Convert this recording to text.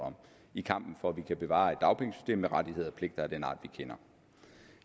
om i kampen for at vi kan bevare et dagpengesystem med rettigheder og pligter af den art vi kender